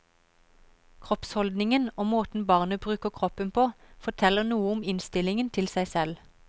Kroppsholdningen og måten barnet bruker kroppen på, forteller noe om innstillingen til seg selv.